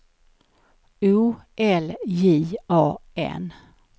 O L J A N